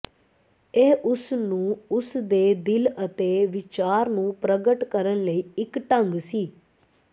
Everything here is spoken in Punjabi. ਇਹ ਉਸ ਨੂੰ ਉਸ ਦੇ ਦਿਲ ਅਤੇ ਵਿਚਾਰ ਨੂੰ ਪ੍ਰਗਟ ਕਰਨ ਲਈ ਇੱਕ ਢੰਗ ਸੀ